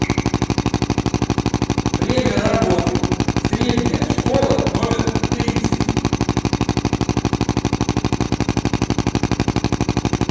время работы средняя школа номер тридцать